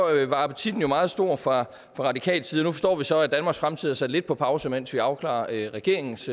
var appetitten jo meget stor fra radikal side nu forstår vi så at danmarks fremtid er sat lidt på pause mens vi afklarer regeringens